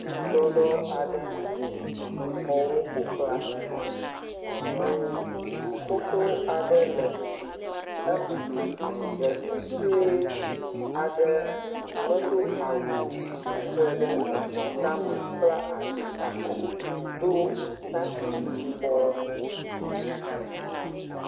Tɔ ɖoɖo aɖe. Amewo ƒoxlãe. Ʋu xoxo aɖe le eme. Ɖevi sɔe aɖe me Do awu o , tsitre ɖe eʋua tame kpla asi alo, Do takpi yibɔ.